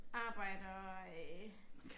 Arbejde og øh